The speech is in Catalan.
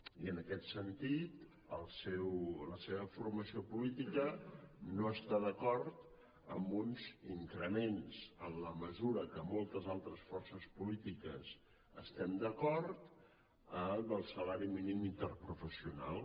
i en aquest sentit la seva formació política no està d’acord amb uns increments en la mesura que moltes altres forces polítiques hi estem d’acord del salari mínim interprofessional